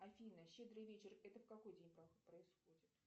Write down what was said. афина щедрый вечер это в какой день происходит